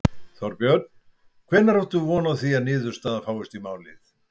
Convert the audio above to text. Þorbjörn: Hvenær áttu von á því að niðurstaða fáist í málið?